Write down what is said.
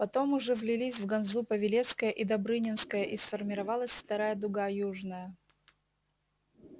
потом уже влились в ганзу павелецкая и добрынинская и сформировалась вторая дуга южная